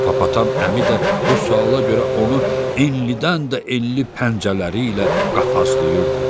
Hippopotam əmi də bu suala görə onu enlindən də enli pəncələri ilə qapazlayırdı.